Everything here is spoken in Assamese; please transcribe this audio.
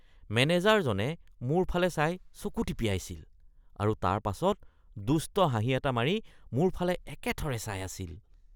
মেনেজাৰজনে মোৰ ফালে চাই চকু টিপিয়াইছিল আৰু তাৰপাছত দুষ্ট হাঁহি এটা মাৰি মোৰ ফালে একেথৰে চাই আছিল।